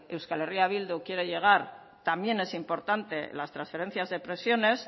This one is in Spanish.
euskal herria bildu quiere llegar también es importante las transferencias de prisiones